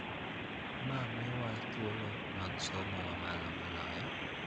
Ma miyowa thuolo mag somo ma malo moloyo.